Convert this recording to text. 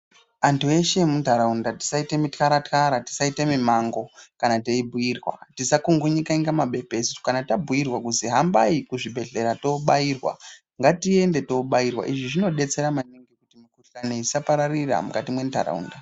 Antu eshe emuntaraunda tisaite mixaraxara, tisaite mimango kana teibhuirwa, tisakungunyika inga mabepesu. Kana tabhuirwa kuzi hambai kuzvibhedhlera toobairwa ngatiende toibairwa. Izvi zvinodetsera maningi kuti mikuhlani isapararira mukati mwentaraunda.